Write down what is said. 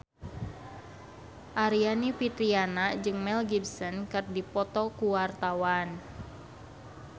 Aryani Fitriana jeung Mel Gibson keur dipoto ku wartawan